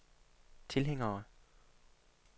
tilhængere